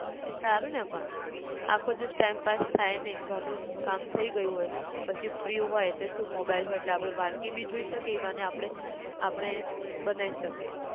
એ સારું ને પણ આખો દિવસ time pass થાય નઈ ઘર નું કામ થઇ ગયું હોય પછી free હોય એટલે સુ mobile હોય એટલે આપણે વાનગી બી જોઈ શકીએ એ બહાને આપણે આપણે, બનાય શકીએ